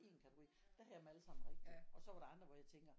En kategori der havde jeg dem allesammen rigtige og så var der andre hvor jeg tænker